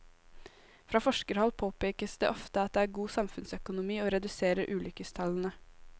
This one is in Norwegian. Fra forskerhold påpekes det ofte at det er god samfunnsøkonomi å redusere ulykkestallene.